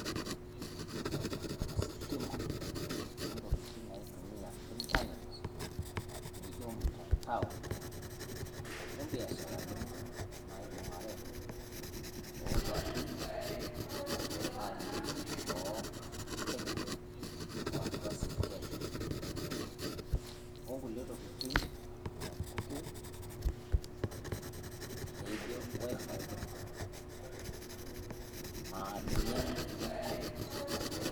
Ositima o ntokitin naitumia iternet nijoo mutantao o biasharanini naibung'are o kwapii buoo e Kenya o atua si Kenya. O ng'ule tokitin sapukin neijo wi-fi naa ninye iternet.